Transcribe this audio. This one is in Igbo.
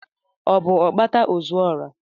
Ọ bụ Okpata ozuora?